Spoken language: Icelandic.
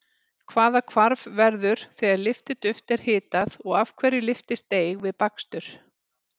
Hvaða hvarf verður þegar lyftiduft er hitað og af hverju lyftist deig við bakstur?